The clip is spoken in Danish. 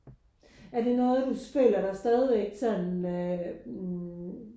Er det noget du føler der stadigvæk sådan mh